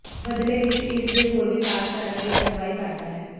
ਬਦਲੇ ਵਿੱਚ ਇਸ ਦੇ ਹੋਰ ਵਿਕਾਸ ਕਰਨ ਲਈ ਅਗਵਾਈ ਕਰਦਾ ਹੈ